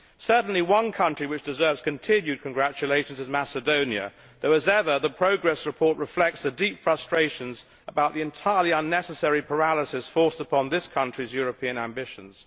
Certainly one country which deserves continued congratulations is Macedonia, although, as ever, the progress report reflects the deep frustrations about the entirely unnecessary paralysis forced upon this country's European ambitions.